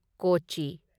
ꯀꯣꯆꯤ